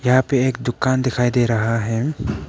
यहां पे एक दुकान दिखाई दे रहा है।